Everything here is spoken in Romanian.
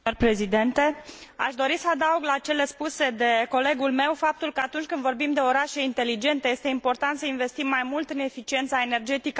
Aș dori să adaug la cele spuse de colegul meu faptul că atunci când vorbim de orașe inteligente este important să investim mai mult în eficiența energetică a locuințelor.